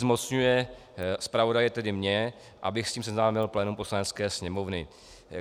Zmocňuje zpravodaje - tedy mě, abych s ním seznámil plénum Poslanecké sněmovně.